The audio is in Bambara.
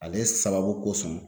Ale sababu kosɔn